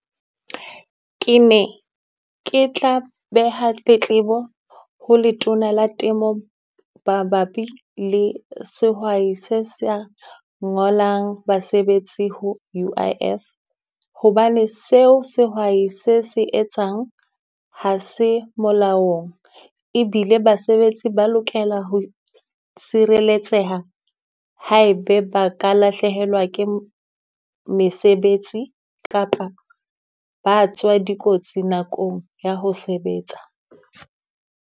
Ke ne ke tla beha tletlebo ho Letona la temo mabapi le sehwai se sa ngolang basebetsi ho U_I_F. Hobane seo sehwai se se etsang ha se molaong. Ebile basebetsi ba lokela ho sireletseha ha ebe ba ka lahlehelwa ke mesebetsi kapa ba tswa dikotsi nakong ya ho sebetsa.